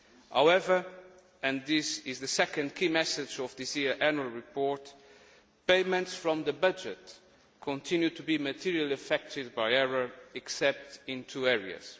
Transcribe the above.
However, and this is the second key message of this year's annual report, payments from the budget continue to be materially affected by error, except in two areas.